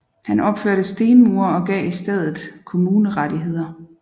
Han opførte stenmure og gav stedet kommunerettigheder